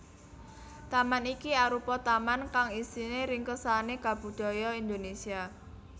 Taman iki arupa taman kang isine ringkesane kabudaya Indonésia